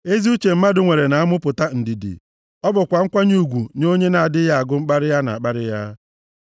Ezi uche mmadụ nwere na-amụpụta ndidi; ọ bụkwa nkwanye ugwu nye onye nʼadịghị agụ mkparị a na-akparị ya.